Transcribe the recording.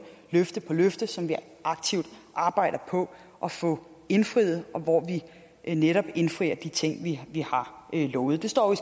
løfte på løfte som vi aktivt arbejder på at få indfriet og hvor vi netop indfrier de ting vi har lovet det står jo